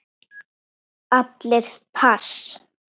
Allir pass.